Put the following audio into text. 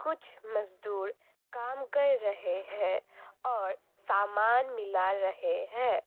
कुछ मजदूर काम कर रहे हैं और सामान मिला रहे हैं।